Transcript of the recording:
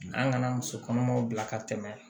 An kana muso kɔnɔmaw bila ka tɛmɛ